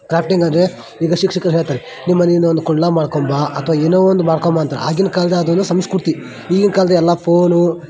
crafting ಅಂದರೆ ಇದು ಶಿಕ್ಷಕರು ಹೇಳ್ತಾರೆ ನಿಮ್ಮನೆಯಿಂದ ಒಂದು ಕುಂಡಲ ಮಾಡ್ಕೊಂಡು ಬಾ ಅಥವಾ ಏನೋ ಒಂದು ಮಾಡ್ಕೊಂಡು ಬಾ ಅಂತ ಆಗಿನ ಕಾಲದಲ್ಲಿ ಅದು ಒಂದು ಸಂಸ್ಕತಿ ಈಗಿನ ಕಾಲದಲ್ಲಿ ಎಲ್ಲ ಫೋನ್ --